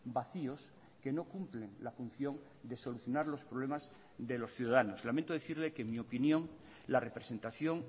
vacíos que no cumplen la función de solucionar los problemas de los ciudadanos lamento decirle que en mi opinión la representación